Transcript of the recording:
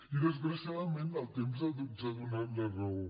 i desgraciadament el temps ens ha donat la raó